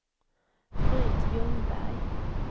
Britt Ljungberg